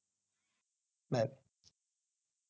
Bye.